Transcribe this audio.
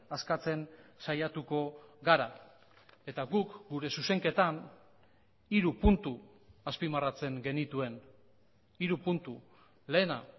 askatzen saiatuko gara eta guk gure zuzenketan hiru puntu azpimarratzen genituen hiru puntu lehena